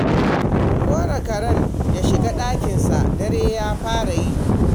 Ku kora karen ya shiga ɗakinsa, dare ya fara yi